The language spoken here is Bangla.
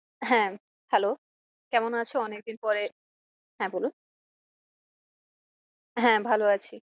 হ্যাঁ hello কেমন আছো অনেক দিন পরে হ্যাঁ বলুন হ্যাঁ ভালো আছি।